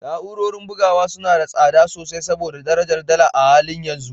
Na’urorin bugawa suna da tsada sosai saboda darajar dala a halin yanzu